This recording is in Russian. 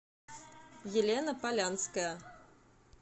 елена полянская